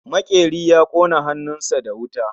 Makeri ya kona hannun sa da wuta